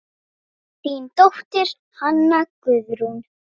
Þín dóttir, Hanna Guðrún.